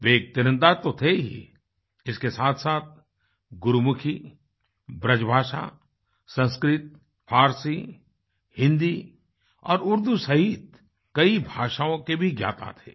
वे एक तीरंदाज तो थे ही इसके साथसाथ गुरूमुखी ब्रजभाषा संस्कृत फारसी हिन्दी और उर्दू सहित कई भाषाओं के भी ज्ञाता थे